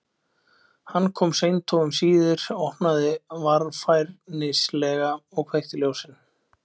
Hann kom seint og um síðir, opnaði varfærnislega og kveikti ljós.